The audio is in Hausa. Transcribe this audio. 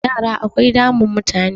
yara akwai damun mutane